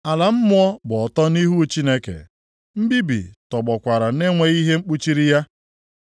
Ala mmụọ gba ọtọ nʼihu Chineke; mbibi + 26:6 Maọbụ, Abadọn nʼasụsụ Hibru tọgbọkwara na-enweghị ihe kpuchiri ya.